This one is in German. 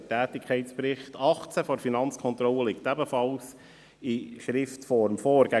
Der Tätigkeitsbericht 2018 der Finanzkontrolle liegt ebenfalls in Schriftform vor.